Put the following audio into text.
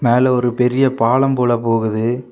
அதுல ஒரு பெரிய பாலம் போல போகுது.